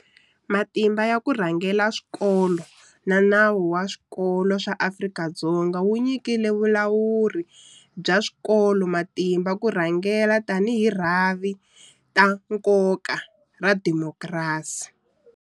Matimba ya ku rhangela swikolo na Nawu wa Swikolo swa Afrika-Dzonga wu nyika vulawuri bya swikolo matimba ya ku rhangela tanihi rhavi ta nkoka ra xidemokirasi.